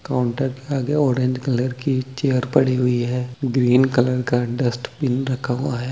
Counter के आगे orange colour की एक चेयर पड़ी हुई है ग्रीन कलर का डस्टबिन रखा हुआ है।